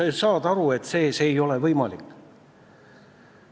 Sa ju saad aru, et see ei ole võimalik.